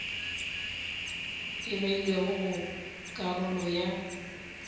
e beilwego go karolo ya